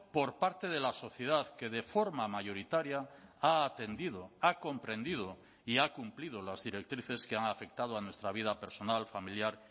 por parte de la sociedad que de forma mayoritaria ha atendido ha comprendido y ha cumplido las directrices que han afectado a nuestra vida personal familiar